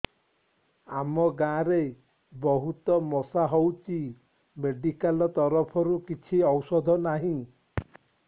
ଆମ ଗାଁ ରେ ବହୁତ ମଶା ହଉଚି ମେଡିକାଲ ତରଫରୁ କିଛି ଔଷଧ ନାହିଁ